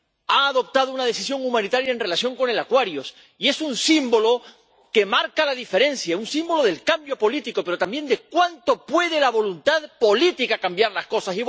ha adoptado una decisión humanitaria en relación con el Aquarius y es un símbolo que marca la diferencia, un símbolo del cambio político, pero también de cuánto puede la voluntad política cambiar las cosas.